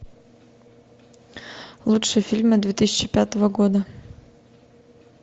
лучшие фильмы две тысячи пятого года